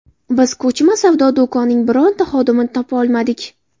Biz ko‘chma savdo do‘koning birorta xodimini topa olmadik.